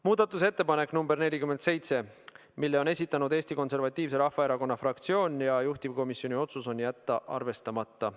Muudatusettepanek nr 47, selle on esitanud Eesti Konservatiivse Rahvaerakonna fraktsioon ja juhtivkomisjoni otsus on jätta see arvestamata.